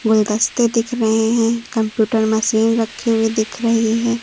गुलदस्ते दिख रहे हैं कंप्यूटर मशीन रखे हुए दिख रही है।